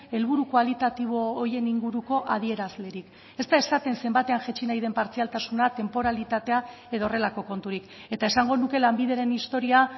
helburu kualitatibo horien inguruko adierazlerik ez da esaten zenbatean jaitsi nahi den partzialtasuna tenporalitatea edo horrelako konturik eta esango nuke lanbideren historia